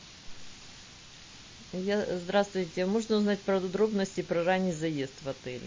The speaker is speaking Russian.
я здравствуйте можно узнать подробности про ранний заезд в отеле